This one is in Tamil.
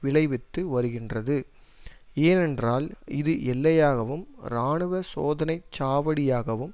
விளைவித்து வருகின்றது ஏனென்றால் இது எல்லையாகவும் இராணுவ சோதனை சாவடியாகவும்